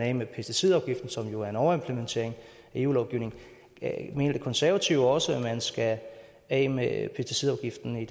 af med pesticidafgiften som jo er en overimplementering af eu lovgivning mener de konservative også at man skal af med pesticidafgiften i